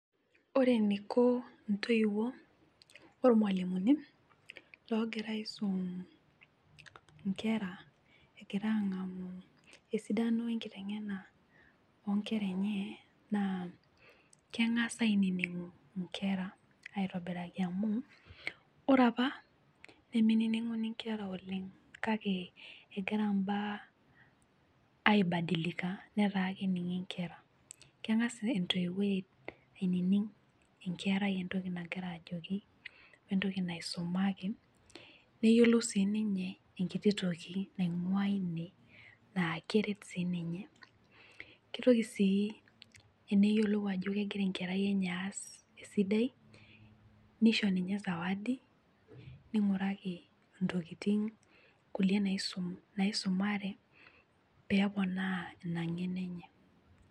Ore eniko intoiwuo ormualimuni logira aisum inkera egira ang'amu esidano enkiteng'ena onkera enye naa keng'as ainining'u inkera aitobiraki amu ore apa neminining'uni inkera oleng kake egiraaimbaa aibadilika netaa kening'i inkera keng'as entoiwuoi ai ainining enkerai entoki nagira ajoki wentoki naisumaki neyiolou sininye enkiti toki naing'ua ine naa keret sininye kitoki sii eneyiolou ajo kegira enkerai enye aas esidai nisho ninye zawadi ning'uraki ntokiting kulie naisum, naisumare peponaa ina ng'eno enye.